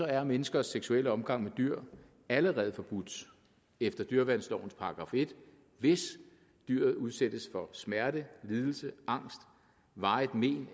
er menneskers seksuelle omgang med dyr allerede forbudt efter dyreværnslovens § en hvis dyret udsættes for smerte lidelse angst varige men